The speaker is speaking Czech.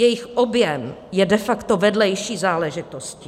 Jejich objem je de facto vedlejší záležitostí.